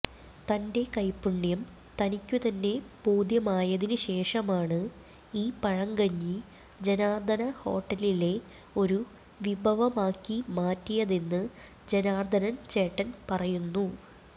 തന്റെ കൈപ്പുണ്യം തനിക്കുതന്നെ ബോധ്യമായതിനു ശേഷമാണ് ഈ പഴങ്കഞ്ഞി ജനാര്ദ്ദന ഹോട്ടലിലെ ഒരു വിഭവമാക്കി മാറ്റിയതെന്ന് ജനാര്ദ്ദനന് ചേട്ടന് പറയുന്നു